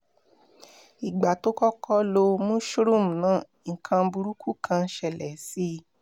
ìgbà tó kọ́kọ́ lo mushroom náà nǹkan burúkú kan ṣẹlẹ̀ sí i